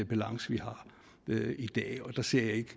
balance vi har i dag jeg ser ikke